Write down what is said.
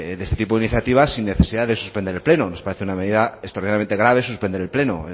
de este tipo de iniciativas sin necesidad de suspender el pleno nos parece una medida extremadamente grave suspender el pleno